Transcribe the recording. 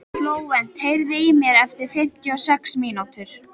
Flóvent, heyrðu í mér eftir fimmtíu og sex mínútur.